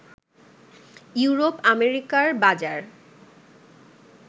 ইউরোপ-আমেরিকার বাজার